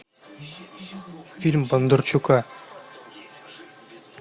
фильм бондарчука